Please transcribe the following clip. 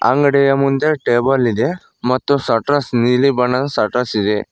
ಅಂಗಡಿಯ ಮುಂದೆ ಟೇಬಲ್ ಇದೆ ಮತ್ತು ಸಟ್ರಸ್ ನೀಲಿ ಬಣ್ಣದ ಸಟ್ರಸ್ ಇದೆ.